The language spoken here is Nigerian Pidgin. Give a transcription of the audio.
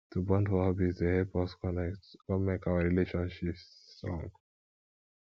to bond for hobbies dey help us connect come make our relationships strong